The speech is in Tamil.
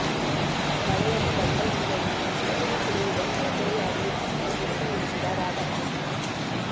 மலையக மக்கள் முன்னணியின் மத்திய குழுவுடன் கலந்துரையாடிய பின்பே முடிவு என்கிறார் இராதாகிருஷ்ணன்